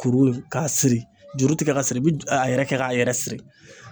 Kuru k'a siri juru ti kɛ ka siri i bi ju a yɛrɛ kɛ k'a yɛrɛ siri